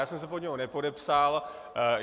Já jsem se pod něj nepodepsal.